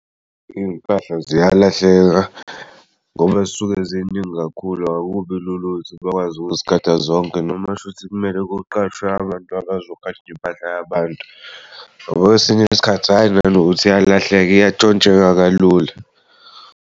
Iy'mpahla ziyalahleka ngoba zisuke ziningi kakhulu akubi lula ukuthi bakwazi ukuzigada zonke noma shuthi kumele kuqashwe abantu abazogada impahla yabantu ngoba kwesiny'isikhathi hhayi nanokuthi iyalahlek iyantshontsheka kalula.